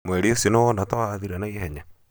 mweri ũcio nĩwona ta wathira naihenya?